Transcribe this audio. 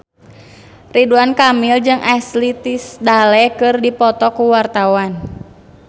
Ridwan Kamil jeung Ashley Tisdale keur dipoto ku wartawan